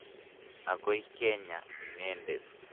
Akoi kenya inendet.